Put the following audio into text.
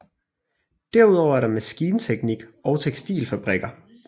Derudover er der maskinteknik og tekstilfabrikker